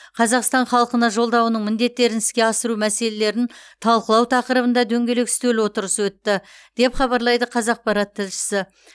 қазақстан халқына жолдауының міндеттерін іске асыру мәселелерін талқылау тақырыбында дөңгелек үстел отырысы өтті деп хабарлайды қазақпарат тілшісі